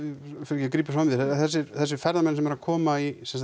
ég grípi fram þér en þessir ferðamenn sem eru að koma